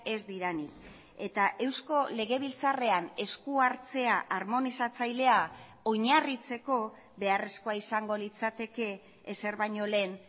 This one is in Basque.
ez direnik eta eusko legebiltzarrean eskuhartzea armonizatzailea oinarritzeko beharrezkoa izango litzateke ezer baino lehen